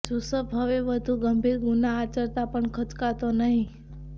જુસબ હવે વધુ ગંભીર ગુના આચરતા પણ ખચકાતો નહીં